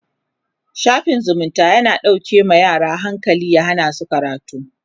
shafin zumunta yana dauƙe ma yara hankali ya Hana su karatu